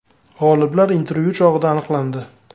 G‘oliblar intervyu chog‘ida aniqlandi.